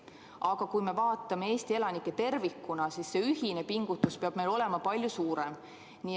Aga kui me vaatame Eesti elanikkonda tervikuna, siis see ühine pingutus peab olema palju suurem.